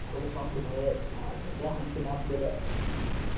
खरं सांगतो भाव्या लय हाणतील आपल्याला